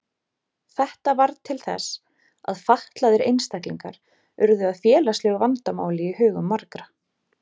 Þetta varð til þess að fatlaðir einstaklingar urðu að félagslegu vandamáli í hugum margra.